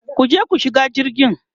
kuje ku shiga jirgi!